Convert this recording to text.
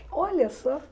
Olha só!